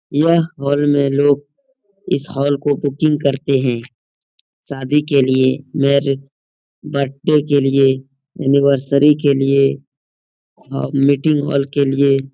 यह हॉल में लोग इस हॉल को बुकिंग करते हैं शादी के लिए मेरिड बर्थडे के लिए एनिवर्सरी के लिए मीटिंग के लिए।